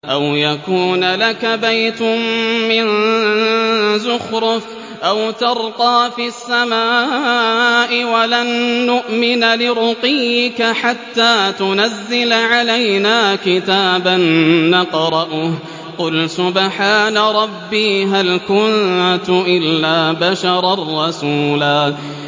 أَوْ يَكُونَ لَكَ بَيْتٌ مِّن زُخْرُفٍ أَوْ تَرْقَىٰ فِي السَّمَاءِ وَلَن نُّؤْمِنَ لِرُقِيِّكَ حَتَّىٰ تُنَزِّلَ عَلَيْنَا كِتَابًا نَّقْرَؤُهُ ۗ قُلْ سُبْحَانَ رَبِّي هَلْ كُنتُ إِلَّا بَشَرًا رَّسُولًا